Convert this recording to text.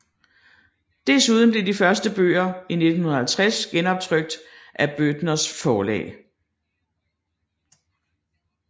Desuden blev de første bøger i 1950 genoptrykt af Bøthners Forlag